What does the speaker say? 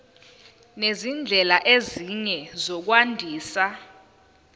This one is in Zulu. nezindlela ezinye zokwandisa